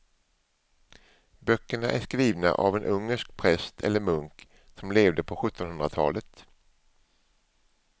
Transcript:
Böckerna är skrivna av en ungersk präst eller munk som levde på sjuttonhundratalet.